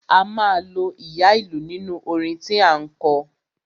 A máa lo ìyá ìlú nínú orin tí à ń kọ.